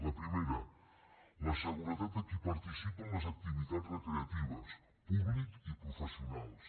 la primera la seguretat de qui participa en les activitats recreatives públic i professionals